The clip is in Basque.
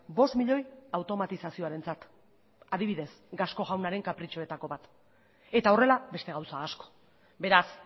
bost milioi automatizazioarentzat adibidez gasco jaunaren kapritxoetako bat eta horrela beste gauza asko beraz